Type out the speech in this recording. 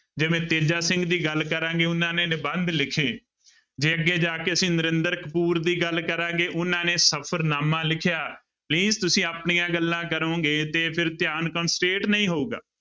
ਜਿਵੇਂ ਤੇਜਾ ਸਿੰਘ ਦੀ ਗੱਲ ਕਰਾਂਗੇ ਉਹਨਾਂ ਨੇ ਨਿਬੰਧ ਲਿਖੇ ਜੇ ਅੱਗੇ ਜਾ ਕੇ ਅਸੀਂ ਨਰਿੰਦਰ ਕਪੂਰ ਦੀ ਗੱਲ ਕਰਾਂਗੇ ਉਹਨਾਂ ਨੇ ਸਫ਼ਰਨਾਮਾ ਲਿਖਿਆ please ਤੁਸੀਂ ਆਪਣੀਆਂ ਗੱਲਾਂ ਕਰੋਂਗੇ ਤੇ ਫਿਰ ਧਿਆਨ concentrate ਨਹੀਂ ਹੋਊਗਾ।